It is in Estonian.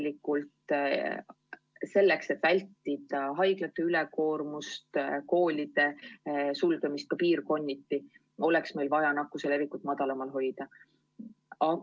Või oleks meil vaja selleks, et vältida haiglate ülekoormust, koolide sulgemist ka piirkonniti, nakkuse levikut veel madalamal hoida?